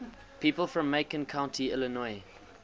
people from macon county illinois